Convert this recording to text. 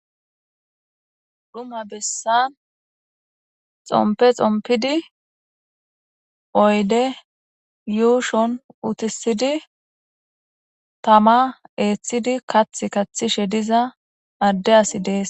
Issi bessan xomppe xomppidi tamma eththidi kaththa kaththiza addey dess.